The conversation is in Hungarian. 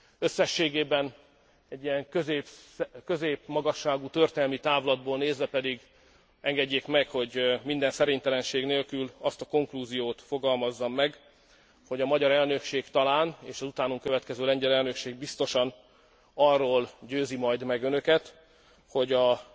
Összességében egy ilyen középmagasságú történelmi távlatból nézve pedig engedjék meg, hogy minden szerénytelenség nélkül azt a konklúziót fogalmazzam meg, hogy a magyar elnökség talán, és az utánunk következő lengyel elnökség biztosan arról győzi meg majd önöket, hogy az